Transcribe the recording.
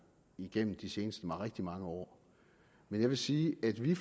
igennem de seneste rigtig mange år men jeg vil sige at vi